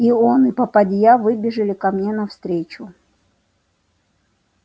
и он и попадья выбежали ко мне навстречу